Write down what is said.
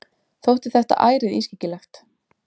Þótti þetta ærið ískyggilegt.